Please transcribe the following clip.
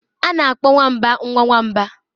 A na-akpọ nwamba nwa nwamba.